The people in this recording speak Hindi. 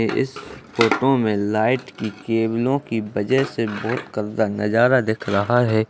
इस फोटो में लाइट की केबलो की वजह से बहुत गंदा नजारा दिख रहा है।